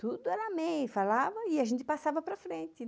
Tudo era amém, falava e a gente passava para frente.